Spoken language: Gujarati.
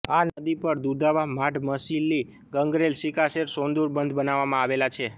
આ નદી પર દુધાવા માઢમસિલ્લી ગંગરેલ સિકાસેર સોંદુર બંધ બનાવવામાં આવેલા છે